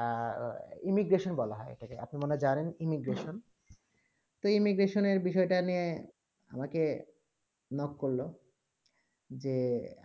বলা হয়ে imigration এটাকে কে আপনি মনে হয়ে জানেন imigration তো imigration বিষয়ে তা কে নিয়ে আমাকে knock করলো যে